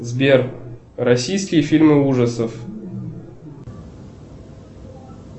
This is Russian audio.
сбер российские фильмы ужасов